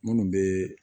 Minnu bɛ